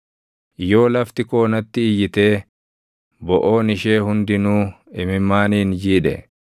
“Yoo lafti koo natti iyyitee boʼoon ishee hundinuu imimmaaniin jiidhe,